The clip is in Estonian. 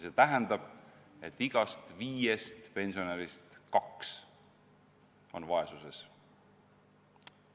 See tähendab, et igast viiest pensionärist kaks elavad vaesuses.